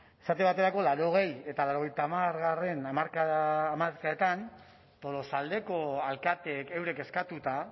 esate baterako laurogei eta laurogeita hamargarrena hamarkadetan tolosaldeko alkateek eurek eskatuta